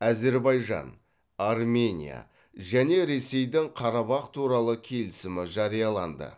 әзербайжан армения және ресейдің қарабах туралы келісімі жарияланды